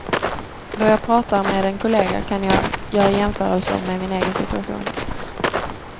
Då jag pratar jag med en kollega kan jag göra jämförelser med min egen situation.